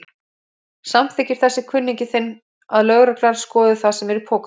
Samþykkir þessi kunningi þinn að lögreglan skoði það sem er í pokanum?